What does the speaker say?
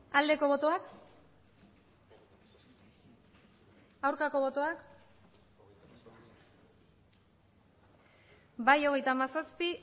aldeko botoak aurkako botoak bai hogeita hamazazpi